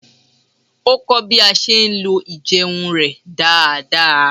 Ó kọ́ bí a ṣe ń lo ijeun rẹ̀ dáadáa